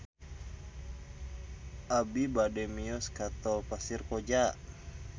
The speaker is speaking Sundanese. Abi bade mios ka Tol Pasir Koja